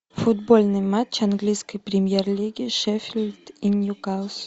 футбольный матч английской премьер лиги шеффилд и ньюкасл